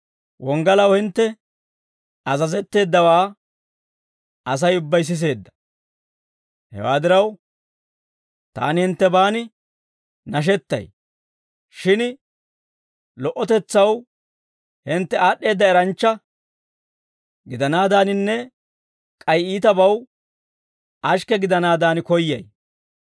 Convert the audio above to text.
Wonggalaw hintte azazetteeddawaa Asay ubbay siseedda. Hewaa diraw, taani hinttebaan nashettay; shin lo"otetsaw hintte aad'd'eedda eranchcha gidanaadaaninne k'ay iitabaw ashikke gidanaadan koyyay.